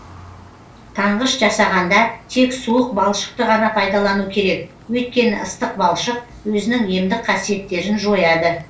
таңғыш жасағанда тек суық балшықты ғана пайдалану керек өйткені ыстық балшық өзінің емдік қасиеттерін жояды